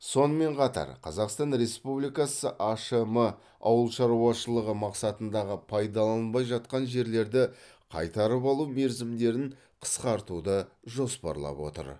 сонымен қатар қазақстан республикасы ашм ауыл шаруашылығы мақсатындағы пайдаланылмай жатқан жерлерді қайтарып алу мерзімдерін қысқартуды жоспарлап отыр